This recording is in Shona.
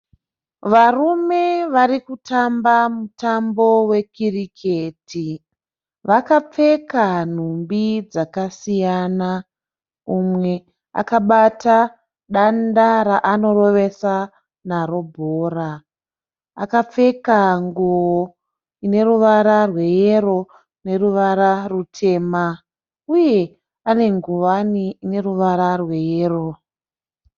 Varume varikutamba mutambo we kiriketi. Vakapfeka nhumbi dzakasiyana. Umwe akabata danda raanorovesa naro bhora, akapfeka nguo ine ruwara rwe yero neruwara rutema uye ane ngowani ine ruwara rwe yero.